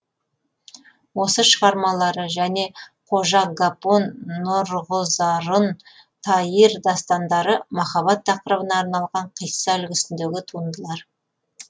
осы шығармалары және қожа ғапон нұрғызарун таир дастандары махаббат тақырыбына арналған қисса үлгісіндегі туындылар